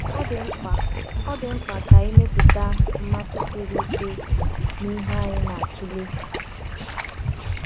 Ọ dị mkpa Ọ dị mkpa ka anyị mepụta mmasị siri ike n’ihe anyị na-atụle.